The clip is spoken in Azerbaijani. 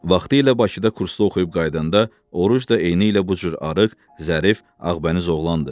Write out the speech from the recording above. Vaxtilə Bakıda kursda oxuyub qayıdanda Oruc da eynilə bu cür arıq, zərif, ağbəniz oğlan idi.